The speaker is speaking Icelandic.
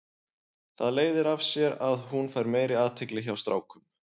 Það leiðir af sér að hún fær meiri athygli hjá strákum.